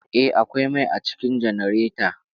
Eh, akwai mai a cikin janareta.